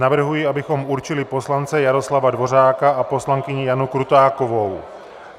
Navrhuji, abychom určili poslance Jaroslava Dvořáka a poslankyni Janu Krutákovou.